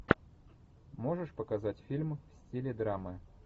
можешь показать фильм в стиле драмы